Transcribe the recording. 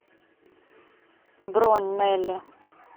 бронь нелли